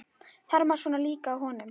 Þjarmar svona líka að honum!